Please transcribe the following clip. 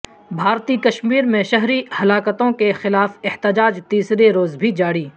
بھارتی کشمیر میں شہری ہلاکتوں کے خلاف احتجاج تیسرے روز بھی جاری